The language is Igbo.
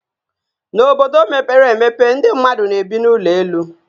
N'obodo mepee emepe, ndị mmadụ na-ebi n'ụlọ elu